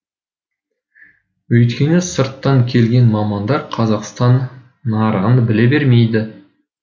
өйткені сырттан келген мамандар қазақстан нарығын біле бермейді